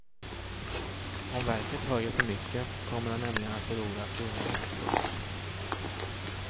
Om verket höjer för mycket kommer det nämligen att förlora kunder. punkt